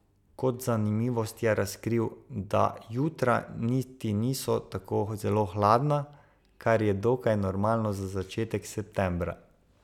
Kot zanimivost je razkril, da jutra niti niso tako zelo hladna, kar je dokaj normalno za začetek septembra.